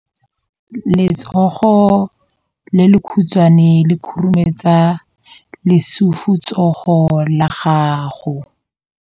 Letsogo le lekhutshwane le khurumetsa lesufutsogo la gago.